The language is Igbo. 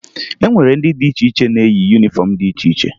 E nwere ndị dị iche iche na-eyi yunifọmụ dị iche iche